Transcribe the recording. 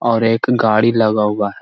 और एक गाड़ी लगा हुआ है।